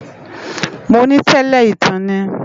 Mó ni tèlè itán ni